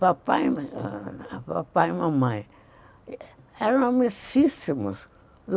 Papai e mamãe eram amiguíssimos.